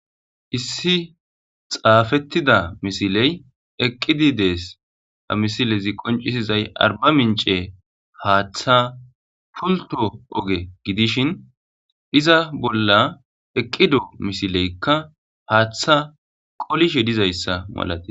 Issi xaafettida misiley eqqidi dees amisilezi qoncisizay arba mince haaththa pulto oge gidishin iza bolla eqqido misileykka haaththa qolishe dizayssa malate.